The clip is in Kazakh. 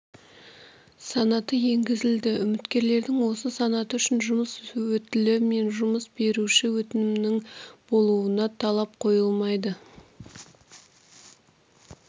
санаты енгізілді үміткерлердің осы санаты үшін жұмыс өтілі мен жұмыс беруші өтінімінің болуына талап қойылмайды